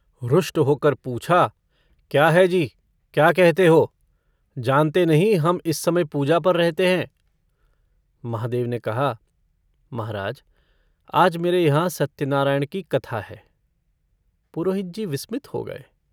रुष्ट होकर पूछा - क्या है जी, क्या कहते हो? जानते नहीं, हम इस समय पूजा पर रहते हैं?" महादेव ने कहा - महाराज आज मेरे यहाँ सत्यनारायण की कथा है।' पुरोहित जी विस्मित हो गये।